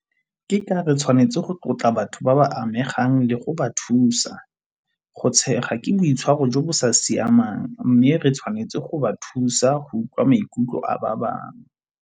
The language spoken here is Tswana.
Ke ka re tshwanetse go tlotla batho ba ba amegang le go ba thusa. Go tshega ke boitshwaro jo bo sa siamang mme re tshwanetse go ba thusa go utlwa maikutlo a ba bangwe.